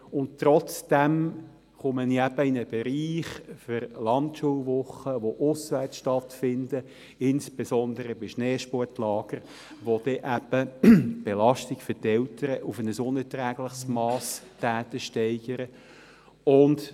Trotzdem komme ich in einen Bereich für Landschulwochen, die auswärts stattfinden, insbesondere bei Schneesportlagern, die dann eben die Belastung der Eltern auf ein unerträgliches Mass steigern.